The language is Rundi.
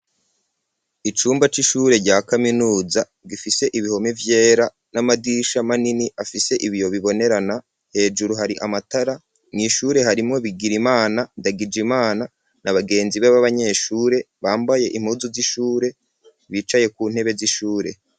Icumba c'ishure rya kaminuza gifise ibihome vyera n'amadisha manini afise ibiyo bibonerana hejuru hari amatara mu ishure harimo bigirimana ndagijimana na bagenzi bab'abanyeshure bambaye impuzu z'ishure bicaye ku ntebe z'ishure.